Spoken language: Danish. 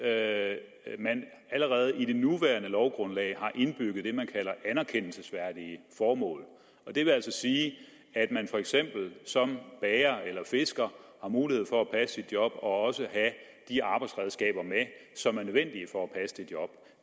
at man allerede i det nuværende lovgrundlag har indbygget det man kalder anerkendelsesværdige formål det vil altså sige at man for eksempel som lærer eller fisker har mulighed for at passe sit job og også have de arbejdsredskaber med som er nødvendige for at passe det job